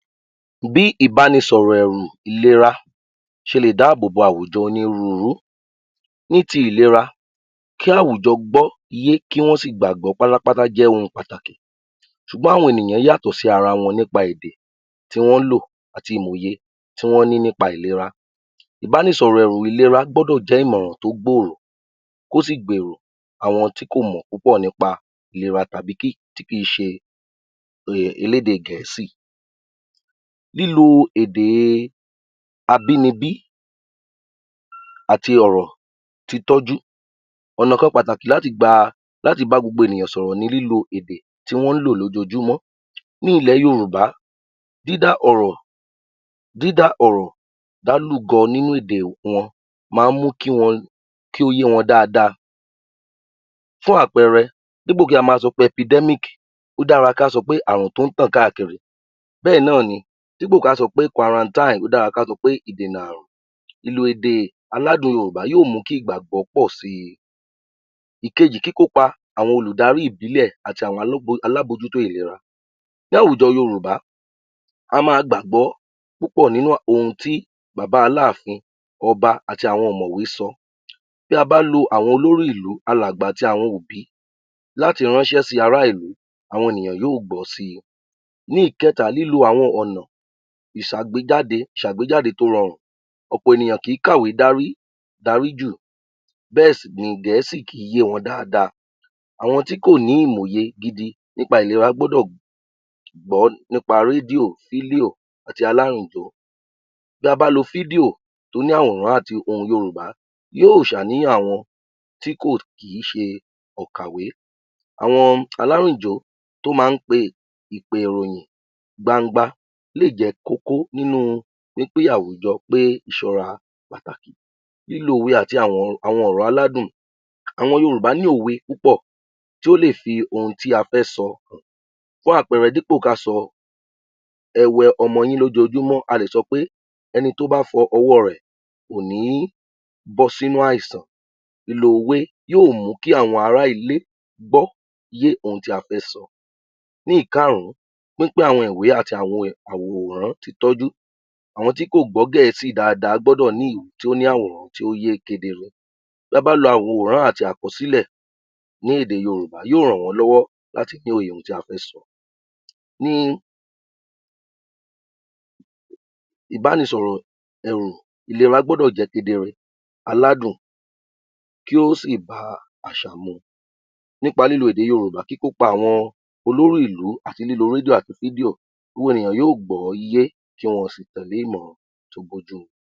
Bí ìbánisọ̀rọ̀ um ìlera ṣe lè dáàbò bo àwùjọ oníruurú, ní ti ìlera, kí àwùjọ gbọ́ yé kí wọ́n sì gbàgbọ́ jẹ́ oun tó ṣe pàtàkì ṣùgbọ́n àwọn ènìyàn yàtọ̀ sí ara wọn nípa èdè tí wọ́n ń lò àti ìmọ̀ òye tí wọn ní nípa ìlera. Ìbánisọ̀rọ̀ ẹ̀rù ìlera gbọ́dọ̀ jẹ́ ìmò tó gbòòrò kó sì gbèrò àwọn tí kò mọ̀ púpọ̀ nípa ìlera tàbí tí kì í ṣe elédè gẹ̀ẹ́sì. Lílo èdè abínibí àti ọ̀rọ̀ títọ́jú ọ̀nà kan láti gba, láti bá gbogbo enìyàn sọ̀rọ̀ ni lílo èdè tí wọ́n ń lò lójoojúmọ́. Ní ilẹ̀ Yorùbá, dídá ọ̀rọ̀, dídá ọ̀rọ̀ dálùgọ nínú èdè wọn máa ń mú kí wọn, kí ó yé wọn daada. Fún àpẹẹre, dípò kí a ma sọpé (Epidermic) ó dára ká sọ pé Àrùn tó ń tàn káàkiri bẹ́ẹ̀ náà ni dípò ká sọ pé (Quarantine) ó dára ká sọ pé Ìdènà Àrùn. Ìlò èdè aládùn Yorùbá yó mú kí ìgbàgbọ́ pọ̀ si. Ìkejì kíkópa àwọn olùdarí ìbílẹ̀ àti àwọn alámójútó ìlera, láwùjọ Yorùbá, a máa gbàgbọ́ púpọ̀ nínú ohun tí Bàbá Aláàfin, Ọba àti àwọn ọ̀mọ̀wé sọ, bí a bá lo àwọn olórí ìlú, alàgbà àti àwọn òbí láti ránṣẹ́ sí ará ilú, àwọn ènìyàn yóò gbọ́ si. Ní ìkẹ́ta, lílo àwọn ọ̀nà ìṣàgbéjáde tó rọrùn, ọ̀pọ̀ ènìyàn kì í kàwe dárí, daríjù, bẹ́ẹ̀ sì ni gẹ̀ẹ́sì kì í yé wọn daada, àwọn tí kò ní ìmò òye gidi nípa ìlera gbọ́dọ̀ gbọ́ nípa rédíò, fídíò àti. Tí a bá lo fídíò tó ní àwòrán àti ohùn Yorùbá yóò ṣàníyàn àwọn tí kò kí ṣe òǹkàwé, àwọn alárìnjó tó máa ń pe ìpè ìròyìn gbangba lè jẹ́ kókó nínú wí pé àwùjọ pé ìṣọra pàtàkì. Lílo òwe àti àwọn ọ̀rọ̀ aládùn, àwọn Yorùbá ní òwe púpọ̀ tí ó lè fi ohun tí a fẹ́ sọ hàn, fún àpẹẹrẹ, dípò ká sọ, ẹ wẹ ọwọ́ yín lójoojúmọ́ a lè sọ pé ẹni tó bá fọ ọwọ́ rẹ̀ kò ní bọ́ sínú àìsàn, ìlò òwe yóò mú kí àwọn ará ilé gbọ́yé ohun tí a fẹ́ sọ. Ní ìkárùn-ún, pín-pín àwọn ìwé àti àwọn àwòrán títọ́jú, àwọn tí kò gbọ́ gẹ̀ẹ́sì daada gbọ́dọ̀ ní ìwé tí ó ní àwòrán tí ó yé kedere, ta bá lo àwòràn àti àkọsílè ní èdè Yorùbá yóò ràn wọ́n lọ́wọ́ láti ní òye ohun tí a fẹ́ sọ. Ní ìbánisọrọ̀ ẹ̀rù ìlera gbọ́dọ̀ jẹ́ kedere, aládùn, kí ó sì bá àṣà mu, nípa lílo èdè Yorùbá kíkópa àwọn olórí ìlú àti lílo rédíò àti fídíò gbogbo ènìyàn yóò gbọ́ yé tí wọn ó sì tèlé ìmọràn tí ó bójú mu.